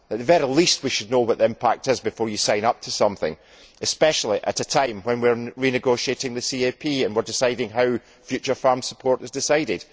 At the very least, we should know what the impact is before we sign up to something, especially at a time when we are renegotiating the CAP and we are deciding how future farm support is decided.